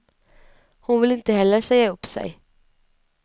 Hon vill inte heller säga upp sig.